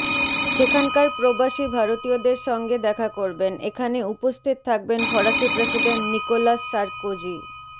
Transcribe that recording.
সেখানকার প্রবাসী ভারতীয়দের সঙ্গে দেখা করবেন এখানে উপস্থিত থাকবেন ফরাসি প্রেসিডেন্ট নিকোলাস সারকোজি